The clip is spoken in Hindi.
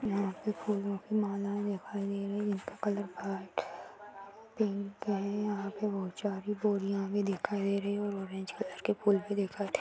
यहाँ पे फूलों की माला दिखाई दे रही जिसका कलर वाइट पिंक है | यहाँ पे बहुत सारी बोरियाँ भी दिखाई दे रही और ऑरेंज कलर के फूल भी देखाई दे रहे।